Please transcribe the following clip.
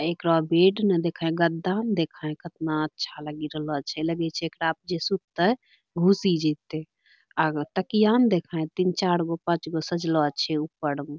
एकरो बेड ना देखै गद्दा न देखै कतना अच्छा लगि रहलो छै लगै छै एकरा प जे सुततै घुसि जैतै आ तकिया न देखै तीन-चार गो पाँच गो सजलो छै ऊपर में |